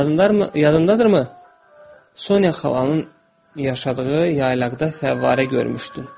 Yadındadır mı, Sonya xalanın yaşadığı yaylaqda fəvvarə görmüşdün.